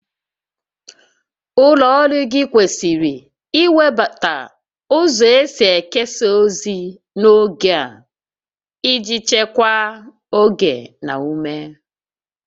Ụlọ ọrụ gị kwesịrị iwebata ụzọ e si ekesa ozi n'oge a iji chekwaa oge na ume